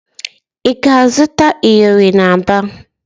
Ị ga-azụta iyori n'Aba?